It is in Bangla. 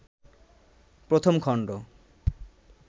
১ম খণ্ড